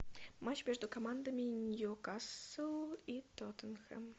матч между командами ньюкасл и тоттенхэм